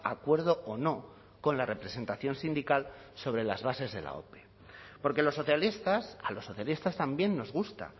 acuerdo o no con la representación sindical sobre las bases de la ope porque los socialistas a los socialistas también nos gusta